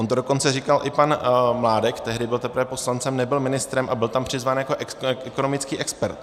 On to dokonce říkal i pan Mládek, tehdy byl teprve poslancem, nebyl ministrem, a byl tam přizván jako ekonomický expert.